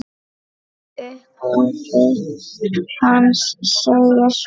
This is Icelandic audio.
Í upphafi hans segir svo